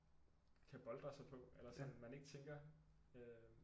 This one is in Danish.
Kan boltre sig på eller sådan man ikke tænker øh